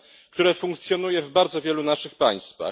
które funkcjonuje w bardzo wielu naszych państwach.